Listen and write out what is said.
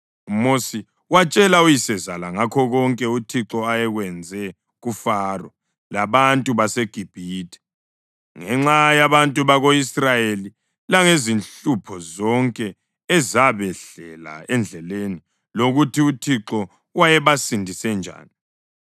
UMosi watshela uyisezala ngakho konke uThixo ayekwenze kuFaro labantu baseGibhithe ngenxa yabantu bako-Israyeli langezinhlupho zonke ezabehlela endleleni lokuthi uThixo wayebasindise njani.